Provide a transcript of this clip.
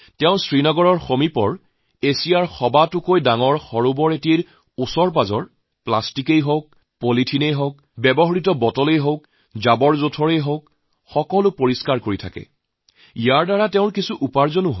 শ্ৰীনগৰৰ ওচৰত এছিয়াৰ আটাইতকৈ যি ডাঙৰ হ্ৰদ আছে তাত প্লাষ্টিক পলিথিন পেলনীয়া বটল লেতেৰা আৱৰ্জনা পৰিষ্কাৰ কৰি তাৰ পৰা কিছু উপাৰ্জনো কৰে